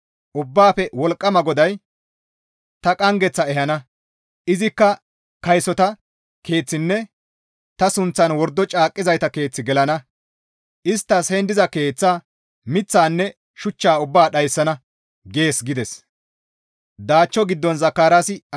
Ubbaafe Wolqqama GODAY, ‹Tani qanggeth ehana; izikka kaysota keeththinne ta sunththan wordo caaqqizayta keeth gelana; isttas heen diza keeththaa, miththaanne shuchchaa ubbaa dhayssana› gees» gides.